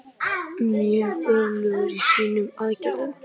Mjög öflugir í sínum aðgerðum.